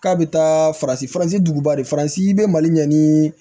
K'a bɛ taa faransi faransi dukuba de faransi be mali ɲɛ ni